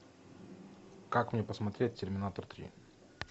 как мне посмотреть терминатор три